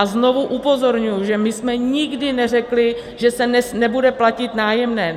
A znovu upozorňuji, že my jsme nikdy neřekli, že se nebude platit nájemné.